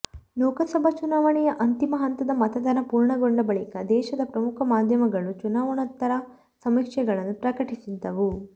ಲೋಕಸಭಾ ಚುನಾವಣೆಯ ಅಂತಿಮ ಹಂತದ ಮತದಾನ ಪೂರ್ಣಗೊಂಡ ಬಳಿಕ ದೇಶದ ಪ್ರಮುಖ ಮಾಧ್ಯಮಗಳು ಚುನಾವಣೋತ್ತರ ಸಮೀಕ್ಷೆಗಳನ್ನು ಪ್ರಕಟಿಸಿದ್ದವು